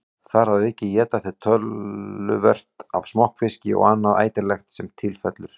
Þar að auki éta þeir töluvert af smokkfiski og annað ætilegt sem til fellur.